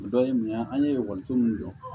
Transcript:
O dɔ ye mun ye an ye ekɔliso min dɔn